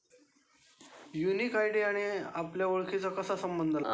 Unique I D आणि आपल्या ओळखीचा कसा संबंध लागतो.